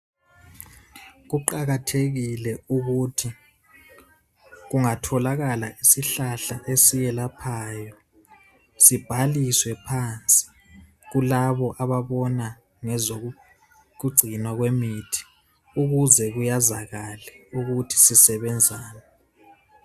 Kuqakathekile ukuthi kungatholakala isihlahla esiyelaphayo sibhaliswe phansi kulabo ababona ngezokugcinwa kwemithi ukuze kuyazakale ukuthi sisebenzani.